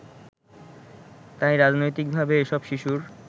তাই রাজনৈতিকভাবে এসব শিশুর